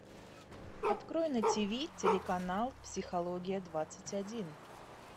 открой на тв телеканал психология двадцать один